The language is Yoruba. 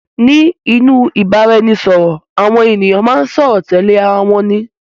Ní inú ìbára ẹni sọ̀rọ̀, àwọn ènìyàn máa ń sọ̀rọ̀ tẹ́lẹ̀ ara wọn ní